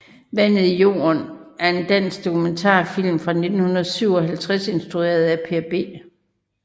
Vandet i jorden er en dansk dokumentarfilm fra 1957 instrueret af Per B